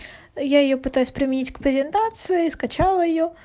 я её пытаюсь применить к презентации скачала её